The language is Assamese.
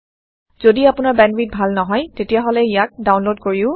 যদি আপোনাৰ বেন্দৱিথ ভাল নহয় তেতিয়াহলে ইয়াক ডাওনলোদ কৰিও চাব পাৰে